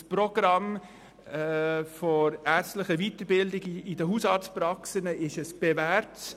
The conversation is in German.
Das Programm «ärztliche Weiterbildung in Hausarztpraxen» hat sich bewährt.